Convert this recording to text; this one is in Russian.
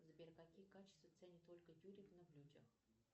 сбер какие качества ценит ольга юрьевна в людях